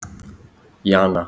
Jana